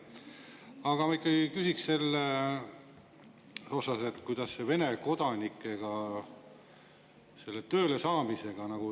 Aga ma ikkagi küsin selle kohta, et kuidas on Vene kodanike tööle saamisega.